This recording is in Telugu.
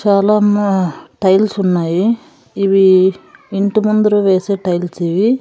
చాలా హుమ్మ్ టైల్స్ ఉన్నాయి ఇవి ఇంటి ముందర వేసే టైల్స్ ఇవి.